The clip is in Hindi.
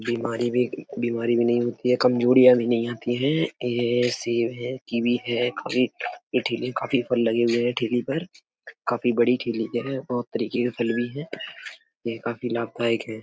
बीमारी भी बीमारी भी नहीं होती है कमज़ोरिया भी नहीं आती हैं। ये सेब है कीवी है काफी इ ठेली काफी फल लगे हुए हैं ठेली पर काफी बड़ी ठेली है और तरीके का फल भी है ये काफ़ी लाभदायक है।